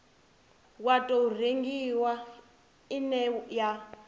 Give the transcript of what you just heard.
wa tou rengiwa ine ya